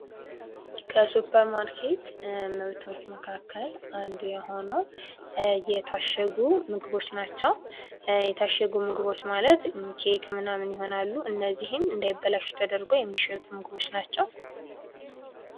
ከሱፐርማርኬት ምርቶች መካከል አንዱ የሆነው የታሸጉ ምግቦች ናቸው ። የታሸጉ ምግቦች ማለት ኬክ ምናምን ይሆናሉ ። እነዚህም እንዳይበላሹ ተደርገው የሚሸጡ ምግቦች ናቸው ።